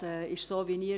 Das ist nun einmal so.